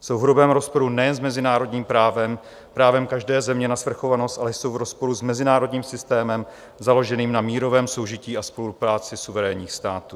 Jsou v hrubém rozporu nejen s mezinárodním právem, právem každé země na svrchovanost, ale jsou v rozporu s mezinárodním systémem založeným na mírovém soužití a spolupráci suverénních států.